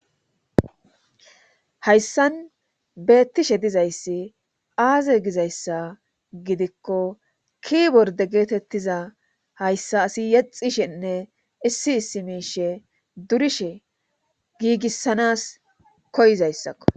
hayssan beettishe dizayssi aaze gizayssa gidikko kiiborde geetettiza hayssa asi yexishenne issi issi miishe durishe giigissanas koyizayssakko.